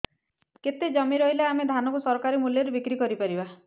କେତେ ଜମି ରହିଲେ ଆମେ ଧାନ କୁ ସରକାରୀ ମୂଲ୍ଯରେ ବିକ୍ରି କରିପାରିବା